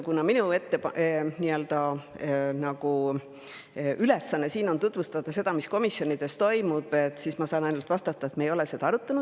Kuna minu ülesanne on siin tutvustada seda, mis komisjonis toimus, siis ma saan ainult vastata, et me ei ole seda arutanud.